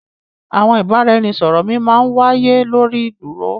Àwọn ìbàràẹ̀nisọ̀rọ̀ mi má n wàíyé lórí ì dúró.